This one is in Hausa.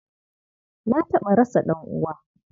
Na taɓa rasa ɗan'uwa.